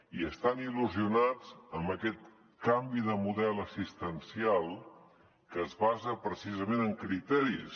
i estan il·lusionats amb aquest canvi de model assistencial que es basa precisament en criteris